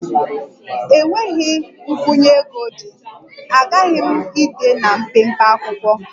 Enweghị nkwụnye ego dị, aghaghị m ide na mpempe akwụkwọ